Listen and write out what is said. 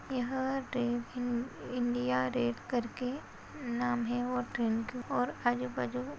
यह ट्रेन इ इंडिया रेट करके नाम है वह ट्रेन की और आजूबाजू वो --